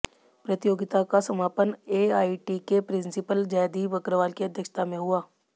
प्रतियोगिता का समापन एआईटी के प्रिंसीपल जयदीप अग्रवाल की अध्यक्षता में हुआ